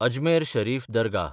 Ajmer Sharif Dargah